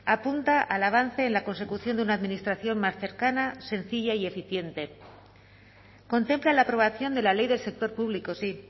apunta al avance en la consecución de una administración más cercana sencilla y eficiente contempla la aprobación de la ley del sector público sí